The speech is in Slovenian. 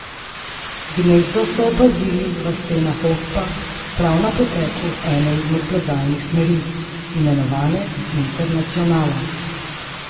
Gnezdo so opazili v stenah Ospa prav na poteku ene izmed plezalnih smeri, imenovane Internacionala.